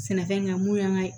Sɛnɛ in kan mun y'an ka